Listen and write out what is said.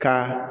Ka